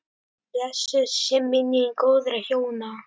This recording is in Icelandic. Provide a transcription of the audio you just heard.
Blessuð sé minning góðra hjóna.